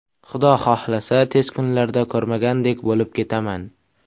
Xudo xohlasa, tez kunlarda ko‘rmagandek bo‘lib ketaman.